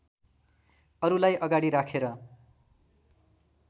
अरुलाई अगाडि राखेर